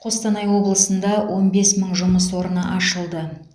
қостанай облысында он бес мың жұмыс орны ашылды